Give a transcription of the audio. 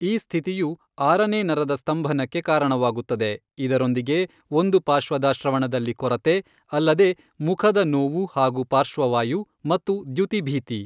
ಈ ಸ್ಥಿತಿಯು ಆರನೇ ನರದ ಸ್ತಂಭನಕ್ಕೆ ಕಾರಣವಾಗುತ್ತದೆ, ಇದರೊಂದಿಗೆ ಒಂದು ಪಾಶ್ವದ ಶ್ರವಣದಲ್ಲಿ ಕೊರತೆ, ಅಲ್ಲದೇ ಮುಖದ ನೋವು ಹಾಗೂ ಪಾರ್ಶ್ವವಾಯು, ಮತ್ತು ದ್ಯುತಿಭೀತಿ.